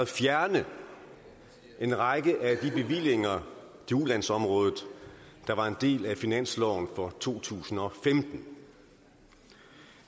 fjerne en række af de bevillinger til ulandsområdet der var en del af finansloven for to tusind og femten